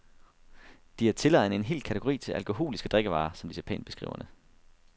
De har tilegnet en hel kategori til alkoholiske drikkevarer, som de så pænt beskriver det.